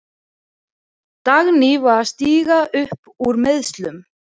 Dagný er að stíga upp úr meiðslum.